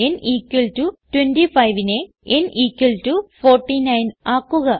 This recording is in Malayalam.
n 25നെ n 49 ആക്കുക